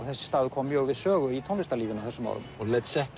þessi staður kom mjög við sögu í tónlistarlífinu á þessum árum og